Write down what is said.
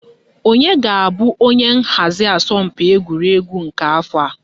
Onye ga-abụ onye nhazi asọmpi egwuregwu nke afọ a?